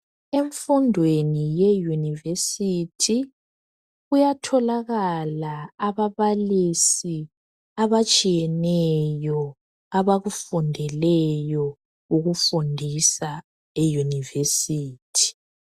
Emfundweni ye Yunivesi kuyatholakala ababalisi abatshiyeneyo abakufundeleyo ukufundisa eYunivesi.